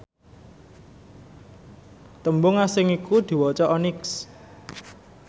tembung asing iku diwaca onyx